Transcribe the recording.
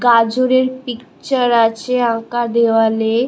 গাজরের পিকচার আছে আঁকা দেওয়ালে-এ--